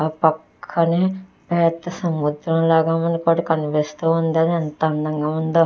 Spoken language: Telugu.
ఆ పక్కనే పెద్ద సముద్రం లాగా మనకి ఒకటి కనిపిస్తూ ఉంది అది ఎంత అందంగా ఉందో.